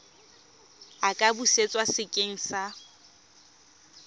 a ka busetswa sekeng sa